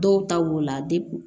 Dɔw ta wolola